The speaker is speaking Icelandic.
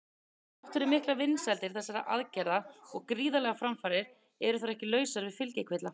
Þrátt fyrir miklar vinsældir þessara aðgerða og gríðarlegar framfarir eru þær ekki lausar við fylgikvilla.